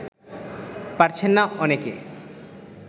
পারছেন না অনেকে